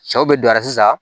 Cɛw bɛ don a la sisan